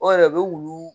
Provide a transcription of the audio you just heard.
O yɛrɛ o bɛ wulu